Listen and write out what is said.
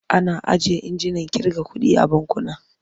Ana ajiye injinan ƙirga kuɗi a bankuna.